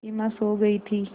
सिमा सो गई थी